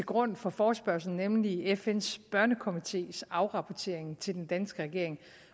grund for forespørgslen nemlig fns børnekomités afrapportering til den danske regering